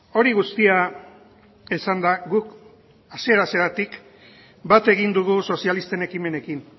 hori guztia esanda guk hasiera hasieratik bat egin dugu sozialisten ekimenekin